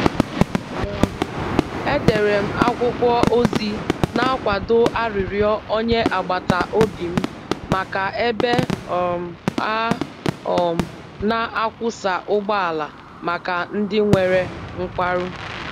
um Edere m akwụkwọ ozi na-akwado arịrịọ onye agbata obi m maka ebe um a um na-akwọsa ụgbọala maka ndị nwere nkwarụ.